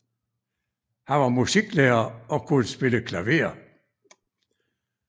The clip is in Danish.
Han var musiklærer og kunne spille klaver